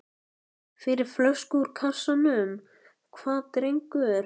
Fyrir flösku úr kassanum, hvað drengur?